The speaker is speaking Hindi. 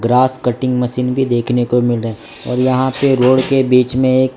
घास कटिंग मशीन भी देखने को मिल रही और यहां पर रोड के बीच में एक --